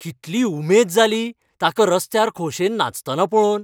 कितली उमेद जाली ताका रस्त्यार खोशेन नाचतना पळोवन.